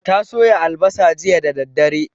Ta soya albasa jiya da daddare